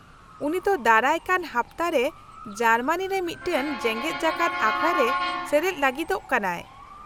ᱩᱱᱤ ᱛᱚ ᱫᱟᱨᱟᱭ ᱠᱟᱱ ᱦᱟᱯᱛᱟ ᱨᱮ ᱡᱟᱨᱢᱟᱱᱤ ᱨᱮ ᱢᱤᱫᱴᱟᱝ ᱡᱮᱜᱮᱫ ᱡᱟᱠᱟᱫ ᱟᱠᱷᱲᱟ ᱨᱮ ᱥᱮᱞᱮᱫ ᱞᱟᱹᱜᱤᱫᱚᱜ ᱠᱟᱱᱟᱭ ᱾